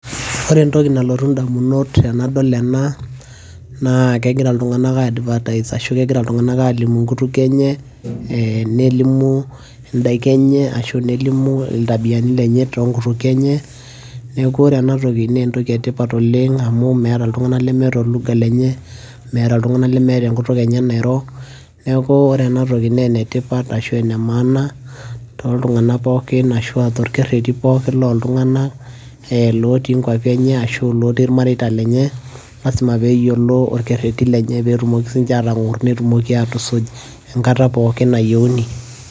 ore entoki nalotu idamunot tenadol ena naa kegira iltungank ai advertise ashu kegira iltunganak aalimu inkutukie enye, nelimu idaiki enye, ashu nelimu iltabiani lenye too nkutukie enye, neeku ore ena toki naa entoki etipat oleng amu meeta iltunganak lemeeta o lugha lenye. meeta iltunganak lemeeta enkutuk enye nairo. neeku ore ena toki naa enetipat ashu ene maana tooltunganak pookin ashu aa toolkereti pookin looltunganak, lotii nkuapi enye ashu lotii irmareita lenye. lasima pee eyiolo olkereti lenye, pee etumoki aatong'or netumoki aatusuj enkata pookin nayieuni.